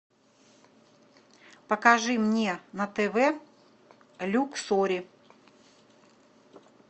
покажи мне на тв люксори